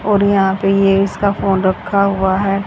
और यहा पे ये इसका फोन रखा हुआ है।